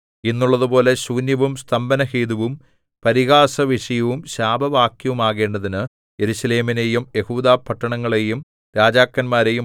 ഇന്നുള്ളതുപോലെ ശൂന്യവും സ്തംഭനഹേതുവും പരിഹാസവിഷയവും ശാപവാക്യവുമാക്കേണ്ടതിന് യെരൂശലേമിനെയും യെഹൂദാപട്ടണങ്ങളെയും രാജാക്കന്മാരെയും